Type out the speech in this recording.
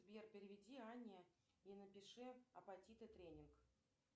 сбер переведи анне и напиши апатиты тренинг